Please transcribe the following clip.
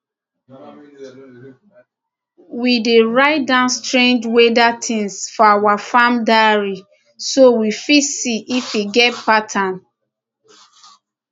we dey write down strange weather things for our farm diary so we fit see if e get pattern